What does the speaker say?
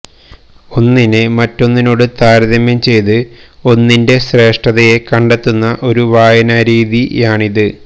ഒന്നിനെ മറ്റൊന്നിനോട് താരതമ്യം ചെയ്ത് ഒന്നിന്റെ ശ്രേഷ്ഠതയെ കണ്ടെത്തുന്ന ഒരു വായനാരീതിയാണിത്